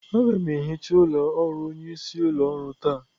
Aga m ehicha ụlọ ọrụ onyeisi ụlọ ọrụ taa.